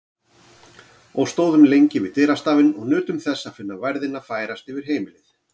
Og stóðum lengi við dyrastafinn og nutum þess að finna værðina færast yfir heimilið.